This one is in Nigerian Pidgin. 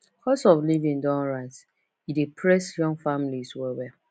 cost of living don rise e dey press young families wellwell